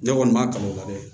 Ne kɔni ma kanu o la dɛ